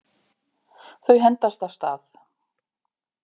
Þau hendast af stað.